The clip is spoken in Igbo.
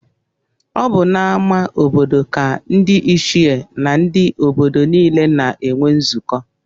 Ọ bụ n'ama obodo ka ndị ichie na ndị obodo niile na-enwe nzukọ